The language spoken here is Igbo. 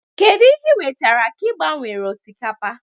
kedụ ihe ị wetere ka ị gbanwele osikapa?